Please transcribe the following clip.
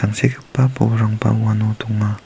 tangsekgipa bolrangba uano donga.